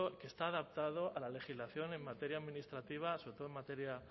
que está adaptado a la legislación en materia administrativa sobre todo en materia